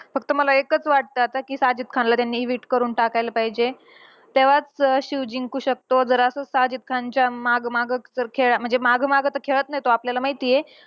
फक्त मला एकच वाटतं, आता कि साजिद खानला त्यांनी evict करून टाकायला पाहिजे. तेव्हाच अं शिव जिंकू शकतो. जर असंच साजिद खानच्या मागं मागंचं जर खेळा म्हणजे मागं माग तर खेळत नाही तो, आपल्याला माहितीये.